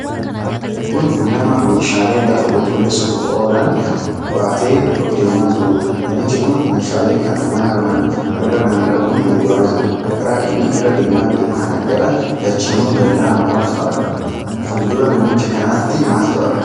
Kun nama meeshaalee lafa qulqulleessuuf oolaan baatee deemaa jirudha. Namichi kun meeshaalee kana mana mana irra naanna'uun gurguraa jira. Karaa inni irra deemaa jiru kana gara lachiinuu dallaa mooraatu argama. Fuuldura namicha kanaatti maaltu argama?